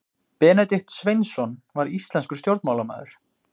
benedikt sveinsson var íslenskur stjórnmálamaður